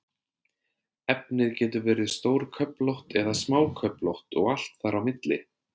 Efnið getur verið stórköflótt eða smáköflótt og allt þar á milli.